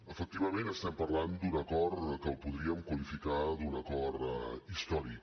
efectivament estem parlant d’un acord que podríem qualificar com un acord històric